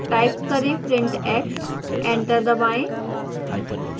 type करें print x enter दबाएं